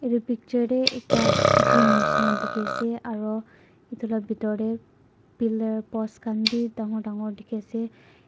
itu picture de ekta G_Y_M nishina dikhi ase aro itu la bitor te pillar post khan bi dangor dangor dikhi ase.